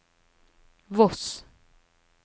Voss